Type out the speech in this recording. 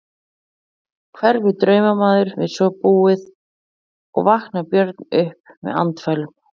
Hverfur draumamaður við svo búið og vaknar Björn upp með andfælum.